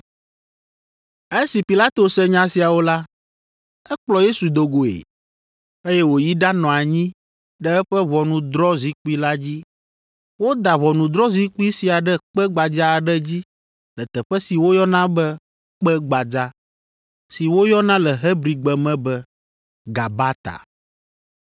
Esi Pilato se nya siawo la, ekplɔ Yesu do goe, eye wòyi ɖanɔ anyi ɖe eƒe ʋɔnudrɔ̃zikpui la dzi. Woda ʋɔnudrɔ̃zikpui sia ɖe kpe gbadza aɖe dzi le teƒe si woyɔna be Kpe Gbadza (si woyɔna le Hebrigbe me be Gabata).